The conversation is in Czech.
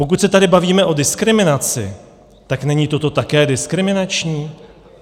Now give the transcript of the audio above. Pokud se tady bavíme o diskriminaci, tak není toto také diskriminační?